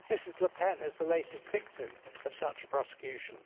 Ms Le Pen is the latest victim of such a prosecution.